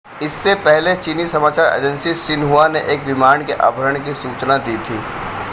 इससे पहले चीनी समाचार एजेंसी शिन्हुआ ने एक विमान के अपहरण की सूचना दी थी